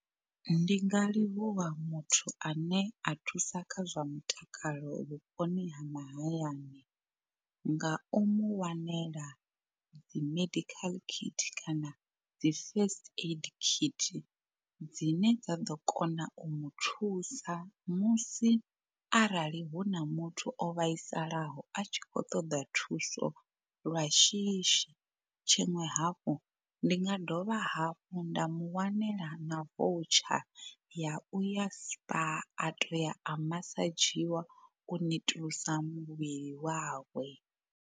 Ndi nga livhuwa muthu ane a thusa kha zwa mutakalo vhuponi ha mahayani nga u mu wanela dzi medical kit kana dzi first aid kit dzine dza ḓo kona u mu thusa musi arali hu na muthu o vhaisalaho a tshi khou ṱoḓa thuso lwa shishi. Tshiṅwe hafhu ndi nga dovha hafhu nda mu wanela na voucher ya uya spar a toya a masadzhiwa u netulusa muvhili wawe.